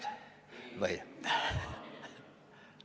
Meid ennast või?